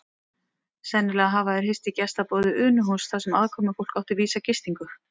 Sennilega hafa þeir hist í gestaboði Unuhúss þar sem aðkomufólk átti vísa gistingu.